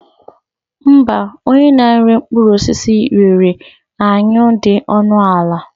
Mba, onye na-ere mkpụrụ osisi rere anyụ dị ọnụ ala.